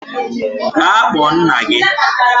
Gaa kpọọ nna gị!